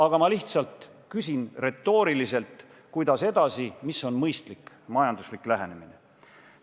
Aga ma lihtsalt küsin retooriliselt: kuidas edasi, mis on mõistlik majanduslik lähenemine?